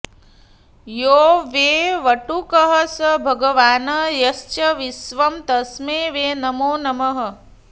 यो वै वटुकः स भगवान् यश्च विश्वं तस्मै वै नमो नमः